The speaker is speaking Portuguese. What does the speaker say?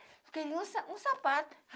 Eu queria um sa um sapato.